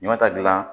Ɲamata dilan